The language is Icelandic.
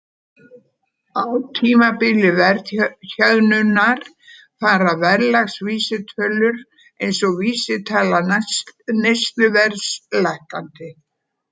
Á tímabili verðhjöðnunar fara verðlagsvísitölur eins og vísitala neysluverðs lækkandi.